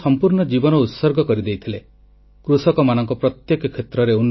ସେ ଜଣେ ଏଭଳି ବିଦ୍ୱାନ ରୂପେ ପ୍ରସିଦ୍ଧ ଥିଲେ ଯିଏ ଇଂରାଜୀ ସଂସ୍କୃତ ଓ କନ୍ନଡ଼ ଭାଷାରେ ଖୁବ୍ ପାରଙ୍ଗମ ଥିଲେ